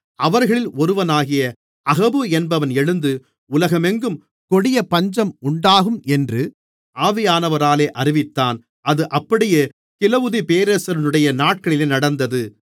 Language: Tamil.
அவர்களில் ஒருவனாகிய அகபு என்பவன் எழுந்து உலகமெங்கும் கொடிய பஞ்சம் உண்டாகும் என்று ஆவியானவராலே அறிவித்தான் அது அப்படியே கிலவுதியு பேரரசனுடைய நாட்களிலே நடந்தது